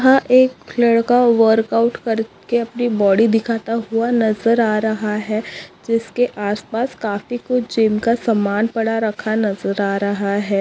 हा एक लड़का वर्कआउट कर के अपने बाडी दिखाता हुआ नज़र आ रहा है जिसके आसपास काफी कुच्छ जिम का सामान पड़ा रखा नज़र आ रहा है।